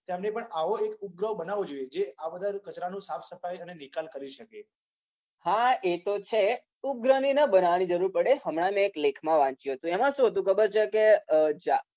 ઓ એ આવો કોઈ ઉપગ્રહ બનાવવો જોઈએ. જે આવા બધા કચરાનો સાફ સફાઈ અનેનિકાલ કરી શકે. હા એ તો છે. ઉપગ્રહને બનાવવાની જરૂર ના પડે. હમણા મેં એક લેખમાં વાંચ્યુ હતુ. એમાં શું હતુ ખબર છે કે,